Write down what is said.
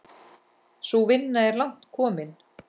Sú vinna er langt komin.